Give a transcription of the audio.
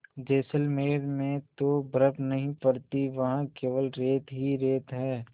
जैसलमेर में तो बर्फ़ नहीं पड़ती वहाँ केवल रेत ही रेत है